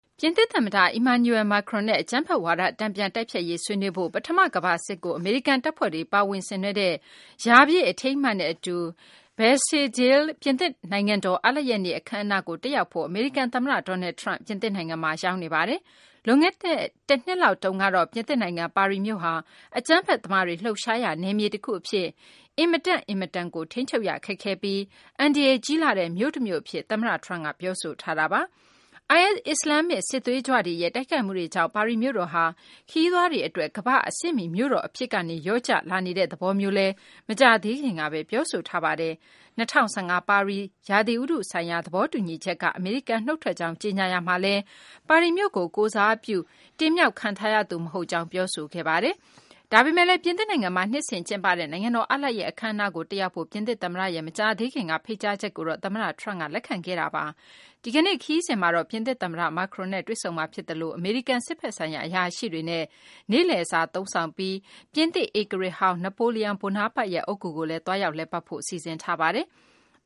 ပြင်သစ်သမ္မတ Emmanuel Macron နဲ့ အကြမ်းဖက်ဝါဒ တန်ပြန်တိုက်ဖျက်ရေး ဆွေးနွေးဖို့၊ ပထမကမ္ဘာစစ်ကို အမေရိကန်တပ်ဖွဲ့တွေ ပါဝင်ဆင်နွဲှတဲ့ ရာပြည့်အထိမ်းအမှတ်နဲ့အတူ Bastille Day ပြင်သစ်နိုင်ငံတော် အားလပ်ရက်နေ့ အခန်းအနားကို တက်ရောက်ဖို့ အမေရိကန် သမ္မတ Donald Trump ပြင်သစ်နိုင်ငံမှာ ရောက်နေပါတယ်။ လွန်ခဲ့တဲ့ တနှစ်လောက်တုန်းကတော့ ပြင်သစ်နိုင်ငံ ပါရီမြို့ဟာ အကြမ်းဖက်သမားတွေ လှုပ်ရှားရာ နယ်မြေတခုအဖြစ် အင်မတန့်အင်မတန်ကို ထိန်းချုပ်ရခက်ခဲပြီး၊ အန္တရာယ်ကြီးလှတဲ့ မြို့တမြို့အဖြစ် သမ္မတ Trump က ပြောဆိုထားတာပါ။ IS အစ္စလာမ်စစ်သွေးကြွတွေရဲ့ တိုက်ခိုက်မှုတွေကြောင့် ပါရီမြို့တော်ဟာ ခရီးသွားတွေကြား ရေပမ်းစားတဲ့ ကမ္ဘာ့အဆင့်မီ မြို့တော်အဖြစ်ကနေ လျော့ကျလာနေတဲ့ သဘောမျိုးလည်း မကြာသေးခင်ကပဲ ပြောဆိုထားပါတယ်။ ကာဗွန်ဓာတ်ငွေ့ ထုတ်လုပ်မှုတွေကို ထိန်းချုပ်ဖို့ ရည်ရွယ်ထားတဲ့ ၂၀၁၅ ပါရီ ရာသီဥတုဆိုင်ရာ သဘောတူညီချက်က အမေရိကန် နှုတ်ထွက်ကြောင်း ကြေညာရာမှာလည်း၊ အမေရိကန် ပြည်ထောင်စု Pittsburgh မြို့ကို ကိုယ်စားပြုတဲ့ သမ္မတသာဖြစ်ပြီး၊ ပါရီကို ကိုယ်စားပြု ရွေးကောက်တင်မြှောက်ခံထားရသူ မဟုတ်ကြောင်း ပြောဆိုထားတာပါ။ ဒါပေမဲ့လည်း ပြင်သစ်နိုင်ငံမှာ နှစ်စဉ်ကျင်းပတဲ့ နိုင်ငံတော် အားလပ်ရက် အခန်းအနားကို တက်ရောက်ဖို့ ပြင်သစ်သမ္မတရဲ့ မကြာသေးခင်က ဖိတ်ကြားချက်ကိုတော့ သမ္မတ Trump က လက်ခံခဲ့ပါတယ်။ သမ္မတ Trump ရဲ့ ဒီကနေ့ ခရီးစဉ်မှာတော့ ပြင်သစ်သမ္မတ Macron နဲ့ တွေ့ဆုံမှာဖြစ်သလို၊ အမေရိကန် စစ်ဘက်ဆိုင်ရာ အရာရှိတွေနဲ့ နေ့လည်စာသုံးဆောင်ပြီး၊ ပြင်သစ်ဧကရာဇ်ဟောင်း Napoleon Bonaparte ရဲ့ အုတ်ဂူကိုလည်း သွားရောက် လည်ပတ်ဖို့ စီစဉ်ထားပါတယ်။